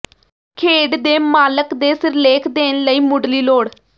ਖੇਡ ਦੇ ਮਾਲਕ ਦੇ ਸਿਰਲੇਖ ਦੇਣ ਲਈ ਮੁੱਢਲੀ ਲੋੜ